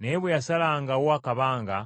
Naye bwe yasalangawo akabanga,